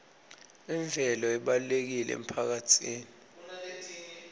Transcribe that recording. imvelo ibalulekile emphakatsini